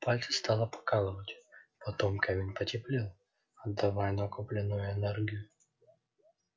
пальцы стало покалывать потом камень потеплел отдавая накопленную энергию